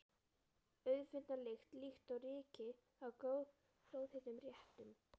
Auðfundna lykt, líkt og ryki af glóðheitum réttum.